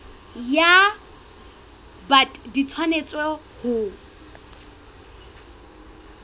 ya bt di tshwanetse ho